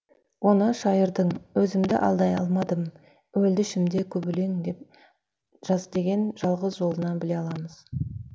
оны шайырдың өзімді алдай алмадым өлді ішімде көп өлең деп жаз деген жалғыз жолынан біле аламыз